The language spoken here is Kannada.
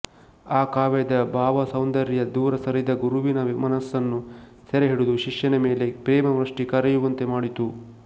ಆ ಕಾವ್ಯದ ಭಾವಸೌಂದರ್ಯ ದೂರಸರಿದ ಗುರುವಿನ ಮನಸ್ಸನ್ನು ಸೆರೆಹಿಡಿದು ಶಿಷ್ಯನ ಮೇಲೆ ಪ್ರೇಮವೃಷ್ಟಿ ಕರೆಯುವಂತೆ ಮಾಡಿತು